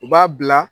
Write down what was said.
U b'a bila